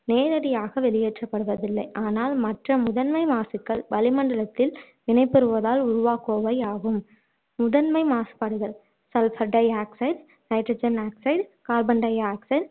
நேரடியாக வெளியேற்றப்படுவதில்லை ஆனால் மற்ற முதன்மை மாசுக்கள் வளிமண்டலத்தில் வினைபுரிவதால் உருவாக்குபவை ஆகும் முதன்மை மாசுபாடுகள் sulphur di-oxide, nitrogen oxide, carbon di-oxide